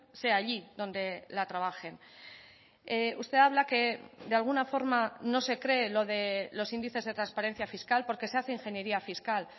sea allí donde la trabajen usted habla que de alguna forma no se cree lo de los índices de transparencia fiscal porque se hace ingeniería fiscal